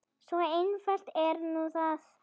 Svo einfalt er nú það.